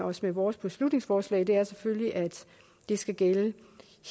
os med vores beslutningsforslag er selvfølgelig at det skal gælde